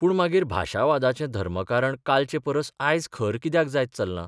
पूण मागीर भाशावादाचें धर्मकारण कालचे परस आयज खर कित्याक जायत चल्लां?